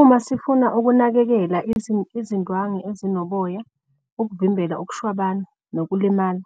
Uma sifuna ukunakekela izindwangu ezinoboya ukuvimbela ukushwabana nokulimala.